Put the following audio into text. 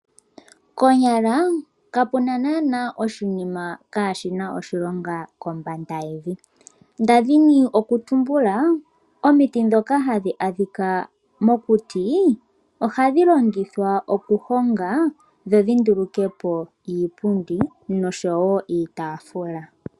Konyala kapuna naana oshinima kaashi na oshilonga kombanda yevi. Ndali ndina okutumbula omiti djoka hadhi adhika mokuti, ohadhi longithwa okuhonga dho dhi ndulukepo iipundi noshowo iitafula.